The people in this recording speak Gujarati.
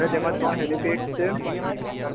અને તેમાં ત્રણ હેલિસ્ટેસ છે.